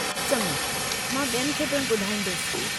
चङो, मां ॿियनि खे पिणु ॿधाईंदसि।